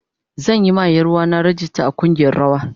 Zan yi ma Yaruwa na rag ista a kungiyar rawa.